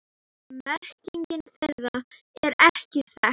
Merking þeirra er ekki þekkt.